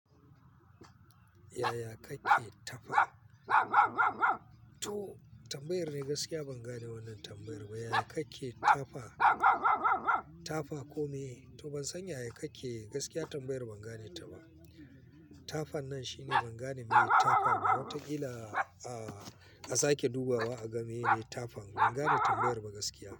Yaya kake tafa? To tambayar dai gaskiya ban gane wannan tambayar ba. Yaya kake tafa, tafa komeye? To ban san yaya kake, gaskiya tambayar ban gane ta ba. Tafan nan shine ban gane meye ba. Tafa ma watakila a sake dubawa a ga mene ne tafan. Ban gane tambayar ba gaskiya.